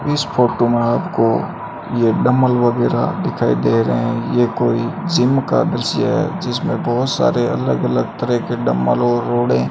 इस फोटो में आपको ये डम्बल वगैरा दिखाई दे रहे ये कोई जिम का दृश्य है जिसमें बहोत सारे अलग अलग तरह डम्बल और रोड़ें --